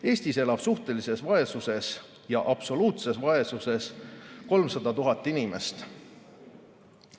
Eestis elab suhtelises vaesuses ja absoluutses vaesuses 300 000 inimest.